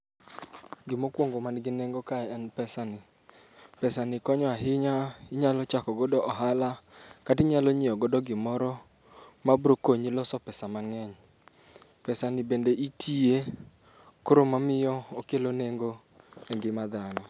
Gima okuongo man gi nengo kae en pesani. Pesani konyo ahinya, inyalo chako godo ohala kata inyalo nyiewo godo gimoro mabiro konyi loso pesa mang'eny. Pesani bende itiye koro emamiyo okelo nengo engima dhano.